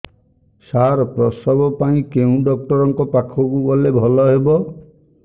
ସାର ପ୍ରସବ ପାଇଁ କେଉଁ ଡକ୍ଟର ଙ୍କ ପାଖକୁ ଗଲେ ଭଲ ହେବ